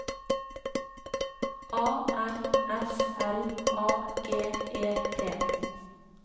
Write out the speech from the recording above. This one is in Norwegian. A N S L A G E T